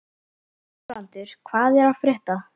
Guðbrandur, hvað er að frétta?